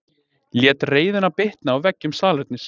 Lét reiðina bitna á veggjum salernis